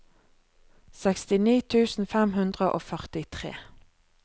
sekstini tusen fem hundre og førtitre